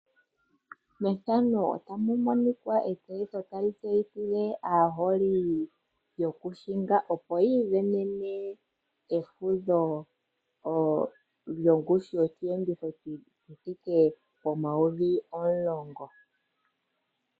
Etseyitho tali tseyithile aaholi yokuhinga opo yi ivenene efudho lyongushu yosheenditho yi thike pomayovi omulongo.